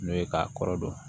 N'o ye k'a kɔrɔ dɔn